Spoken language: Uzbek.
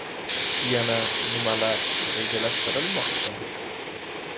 Yana nimalar rejalashtirilmoqda?